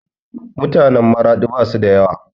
Mutanen Maraɗi basu da yawa